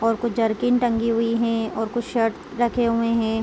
और कुछ जर्किंग टंगी हुए है और कुछ शर्ट रखे हुए है।